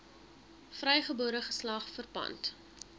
vrygebore geslag verpand